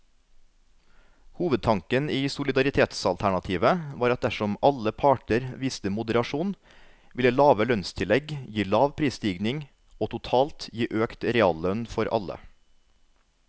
Hovedtanken i solidaritetsalternativet var at dersom alle parter viste moderasjon, ville lave lønnstillegg gi lav prisstigning og totalt gi økt reallønn for alle.